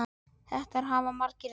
Þetta hafa margir reynt.